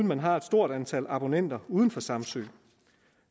man har et stort antal abonnenter uden for samsø